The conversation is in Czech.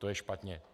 To je špatně.